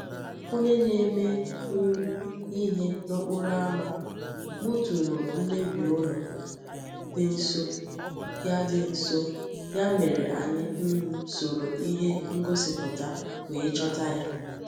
Onye na-eme um ihe n’okporo ámá kpọtụrụ mmebi ụlọ dị nso, ya dị nso, ya mere anyị um soro ihe ngosipụta wee chọta ya.